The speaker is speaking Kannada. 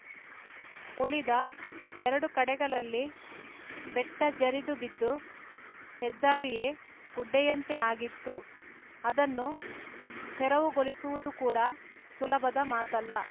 ಉಳಿದ ಎರಡು ಕಡೆಗಳಲ್ಲಿ ಬೆಟ್ಟಜರಿದುಬಿದ್ದು ಹೆದ್ದಾರಿಯೇ ಗುಡ್ಡೆಯಂತೆ ಆಗಿತ್ತು ಆದನ್ನು ತೆರವುಗೊಳಿಸುವುದು ಕೂಡ ಸುಲಭದ ಮಾತಲ್ಲ